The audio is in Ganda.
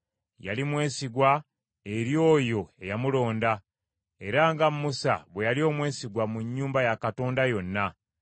Yali mwesigwa eri oyo eyamulonda, era nga Musa bwe yali omwesigwa mu nnyumba ya Katonda yonna.